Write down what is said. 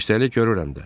Üstəlik görürəm də.